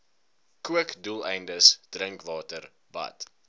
kookdoeleindes drinkwater bad